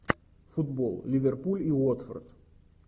футбол ливерпуль и уотфорд